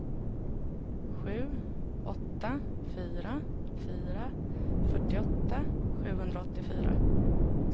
sju åtta fyra fyra fyrtioåtta sjuhundraåttiofyra